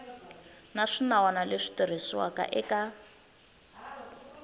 na swinawana leswi tirhisiwaka eka